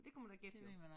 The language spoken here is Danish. Det kunne man da gætte jo